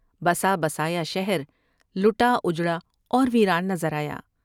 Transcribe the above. بسا بسایا شہرلٹا اجڑا اور ویران نظر آیا ۔